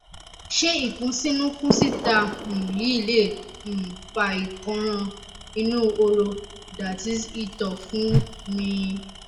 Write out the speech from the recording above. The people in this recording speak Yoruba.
ṣé ìkúnsínu kún síta um yìí lè um fa ìkọran inú horo that is ìtọ̀ fún mi